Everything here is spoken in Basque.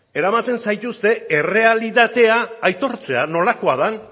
eramaten zaituzte errealitatea aitortzera nolakoa den